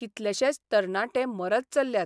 कितलेशेच तरणाटे मरत चल्ल्यात.